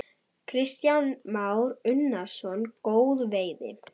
Kristján Már Unnarsson: Góð veiði?